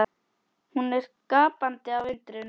Hún er gapandi af undrun.